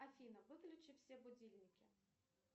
афина выключи все будильники